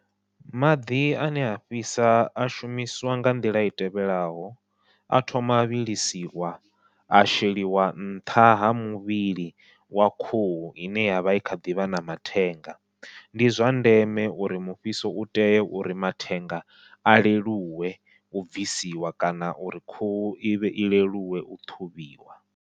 Maḓi ane a fhisa a shumiswa nga nḓila i tevhelaho, a thoma a vhilisiwa a sheliwa nṱha ha muvhili wa khuhu ine yavha i kha ḓivha na mathenga. Ndi zwa ndeme uri mufhiso u tea uri mathenga a leluwe, u bvisiwa kana uri khuhu ivhe i leluwe u ṱhuvhiwa.